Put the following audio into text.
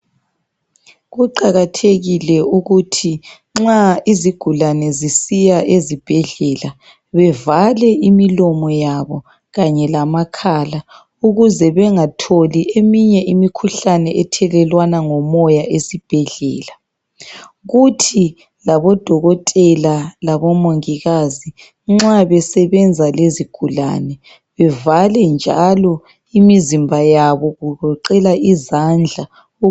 Kuqakathekile ukuthi nxa izigulane zisiya ezibhedlela bevale imilomo yabo kanye lamakhala ukuze bengatholi eminye imikhuhlane ethelelwana ngomoya esibhedlela. Kuthi odokotela labomongikazi nxa besebenza lezigulane bevale njalo imizimba yabo kugoqela izandla.